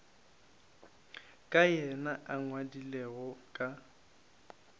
ka yena a ngwadilego ka